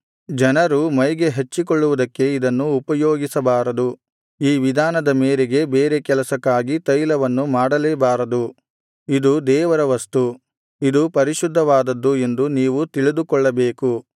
ಜನರು ಮೈಗೆ ಹಚ್ಚಿಕೊಳ್ಳುವುದಕ್ಕೆ ಇದನ್ನು ಉಪಯೋಗಿಸಬಾರದು ಈ ವಿಧಾನದ ಮೇರೆಗೆ ಬೇರೆ ಕೆಲಸಕ್ಕಾಗಿ ತೈಲವನ್ನು ಮಾಡಲೇಬಾರದು ಇದು ದೇವರ ವಸ್ತು ಇದು ಪರಿಶುದ್ಧವಾದದ್ದು ಎಂದು ನೀವು ತಿಳಿದುಕೊಳ್ಳಬೇಕು